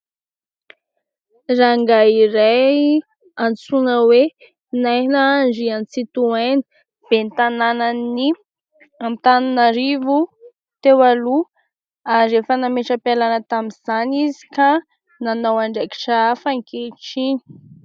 Rangahy iray antsoina hoe: Naina Andriantsitohaina. Ben'ny tanànan'i Antananarivo teo aloha ary efa nametra-pialàna tamin'izany izy ka nanao andraikitra hafa ankehitriny.